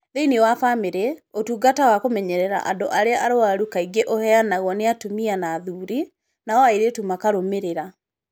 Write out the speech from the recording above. Thĩinĩ wa bamĩrĩ, ũtungata wa kũmenyerera andũ arĩa arwaru kaingĩ ũheanagwo nĩ atumia na athuuri, nao airĩtu makarũmĩrĩra.